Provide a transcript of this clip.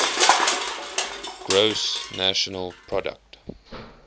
gross national product